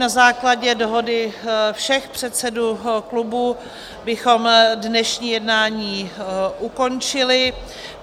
Na základě dohody všech předsedů klubů bychom dnešní jednání ukončili.